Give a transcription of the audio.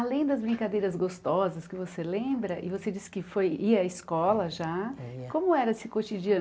Além das brincadeiras gostosas que você lembra, e você disse que foi ia à escola já é ia, como era esse cotidiano?